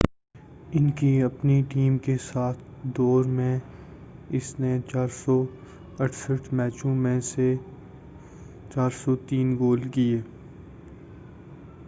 ان کی اپنی ٹیم کے ساتھ کے دور میں اس نے 468 میچوں میں 403 گول کیے